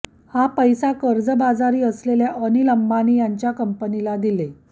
हा पैसा कर्जबाजारी असलेल्या अनिल अंबाणी यांच्या कंपनीला दिले